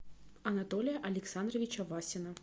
анатолия александровича васина